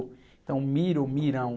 Então, Miro, Mirão.